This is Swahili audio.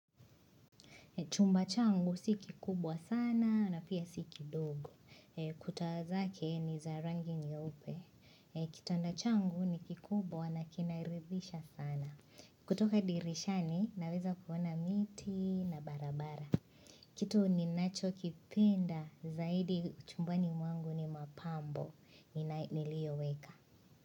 Chumba changu si kikubwa sana na pia si kidogo. Kuta zake ni za rangi nyeupe. Kitanda changu ni kikubwa na kinarithisha sana. Kutoka dirishani naweza kuona miti na barabara. Kitu ninachokipenda zaidi chumbani mwangu ni mapambo. Niliyoweka.